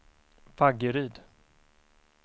Vaggeryd